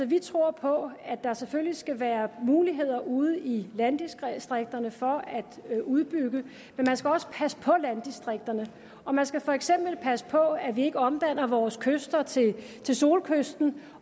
vi tror på at der selvfølgelig skal være muligheder ude i landdistrikterne for at udbygge men man skal også passe på landdistrikterne og man skal for eksempel passe på at vi ikke omdanner vore kyster til solkysten